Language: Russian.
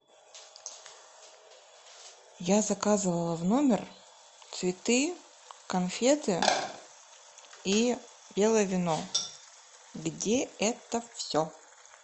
я заказывала в номер цветы конфеты и белое вино где это все